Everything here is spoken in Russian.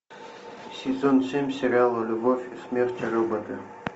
сезон семь сериала любовь смерть и роботы